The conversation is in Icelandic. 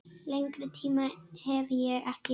Lengri tíma hef ég ekki.